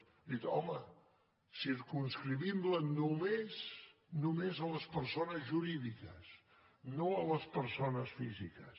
hem dit home circumscriguem la només només a les persones jurídiques no a les persones físiques